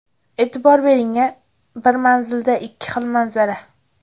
E’tibor bering-a, bir manzilda ikki xil manzara.